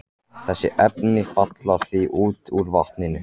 Þessi efni falla því út úr vatninu.